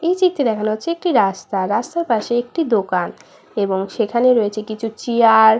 এই চিত্রে দেখানো হয়েছে একটি রাস্তা রাস্তার পাশে একটি দোকান এবং সেখানে রয়েছে কিছু চিয়ার